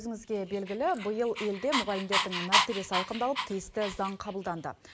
өзіңізге белгілі биыл елде мұғалімдердің мәртебесі айқындалып тиісті заң қабылданды